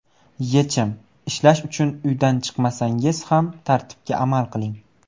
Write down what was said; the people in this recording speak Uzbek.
Yechim: Ishlash uchun uydan chiqmasangiz ham tartibga amal qiling.